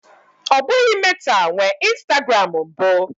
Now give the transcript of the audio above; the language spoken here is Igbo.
Ọ bụghị Meta nwe Instagram mbụ.